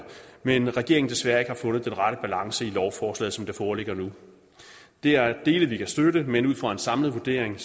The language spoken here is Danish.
men at regeringen desværre ikke har fundet den rette balance i lovforslaget som det foreligger nu der er dele vi kan støtte men ud fra en samlet vurdering